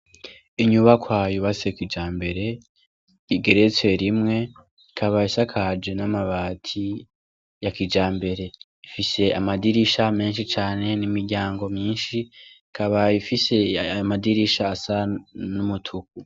inyubakwa yubatse kijambere igeretse rimwe ikaba isakaje n' amabati yakijambere ifise amadirisha menshi cane n' imiryango myinshi ikaba ifise ayomadirisha asa n' umutuku.